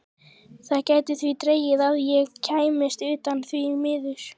Það gæti því dregist að ég kæmist utan, því miður.